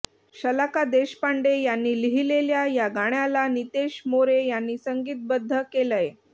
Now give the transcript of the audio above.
शलाका देशपांडे यांनी लिहिलेल्या या गाण्याला नीतेश मोरे यांनी संगीतबद्ध केलंय